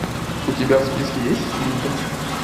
у тебя в списке есть хильда